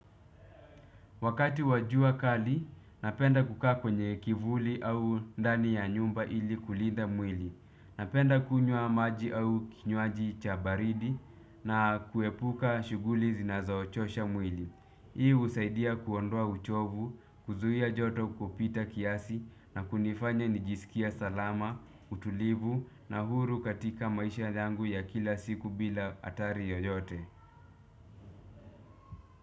Wakati wa jua kali, napenda kukaa kwenye kivuli au ndani ya nyumba ili kulinda mwili. Napenda kunywa maji au kinywaji cha baridi na kuepuka shughuli zinazo chosha mwili. Hii husaidia kuondoa uchovu, kuzuia joto kupita kiasi na kunifanya nijisikie salama, utulivu na huru katika maisha yangu ya kila siku bila hatari yoyote.